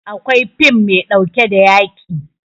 Akwai fim maiɗauke da yaƙi